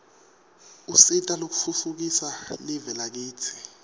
usita kutfutfukisa live lakitsi